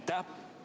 Aitäh!